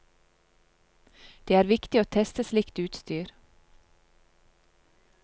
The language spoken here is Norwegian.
Det er viktig å teste slikt utstyr.